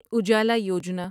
Ujala Yojana